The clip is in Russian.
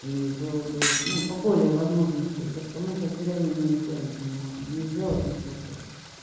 и было бы ну поболее возможности то что мы сейчас в деревне мы нехуя ничего не можем не сделать ничего блядь